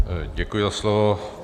Děkuji za slovo.